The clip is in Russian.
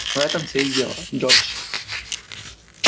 в этом всё и дело джордж